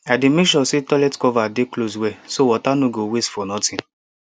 i dey make sure say toilet cover dey close well so water no go waste for nothing